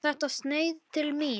Var þetta sneið til mín?